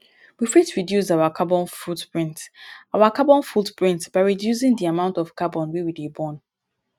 we fit reduce our carbon footprint our carbon footprint by reducing di amount of carbon wey we dey burn